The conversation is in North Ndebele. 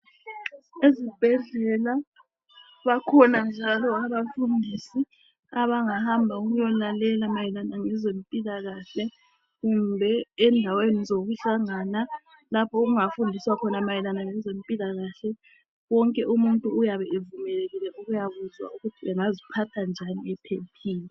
Ezibhedlela bakhona njalo abafundisi abangahamba ukuya lalela mayelana lezempilakahle kumbe endaweni zokuhlangana lapho okunga fundiswa khona mayelana lezempilakahle, wonke umuntu uyabe evumekekile ukuya kuzwa ukuthi engaziphatha njani ephephile.